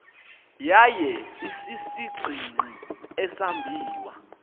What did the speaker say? yaye isisigingqi esambiwa